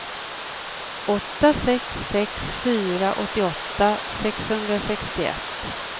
åtta sex sex fyra åttioåtta sexhundrasextioett